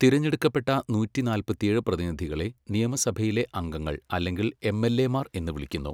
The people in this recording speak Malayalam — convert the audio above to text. തിരഞ്ഞെടുക്കപ്പെട്ട നൂറ്റി നാല്പത്തിയേഴ് പ്രതിനിധികളെ നിയമസഭയിലെ അംഗങ്ങൾ അല്ലെങ്കിൽ എംഎൽഎമാർ എന്ന് വിളിക്കുന്നു.